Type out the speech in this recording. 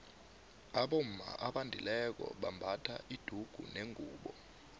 abomma abendileko bambatha idugunengubu